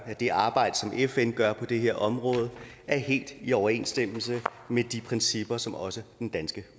at det arbejde som fn gør på det her område er helt i overensstemmelse med de principper som også den danske